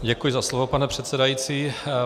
Děkuji za slovo, pane předsedající.